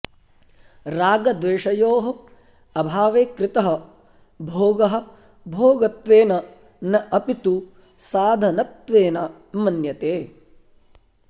रागद्वेषयोः अभावे कृतः भोगः भोगत्वेन न अपि तु साधनत्वेन मन्यते